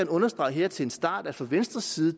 understrege her til en start at fra venstres side